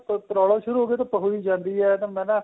problem ਸ਼ੁਰੂ ਹੋ ਗਈ ਤਾਂ ਪਕੜੀ ਜਾਂਦੀ ਏ ਤੇ ਮੈਂ ਨਾ